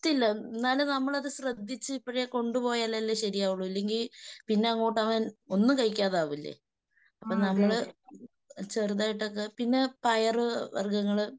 എന്നാലും നമ്മളത് ശ്രദ്ധിച്ച് ഇപ്പൊഴേ കൊണ്ടുപോയാലല്ലേ ശെരിയാവുള്ളൂ. ഇല്ലെങ്കിൽ പിന്നങ്ങോട്ട് അവൻ ഒന്നും കഴിക്കാതെ ആവില്ലേ. അപ്പൊ നമ്മള് ചെറുതായിട്ടൊക്കെ. പിന്നെ പയറ് വർഗങ്ങള്